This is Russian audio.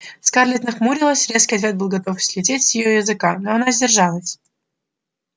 скарлетт нахмурилась резкий ответ готов был слететь у нее с языка но она сдержалась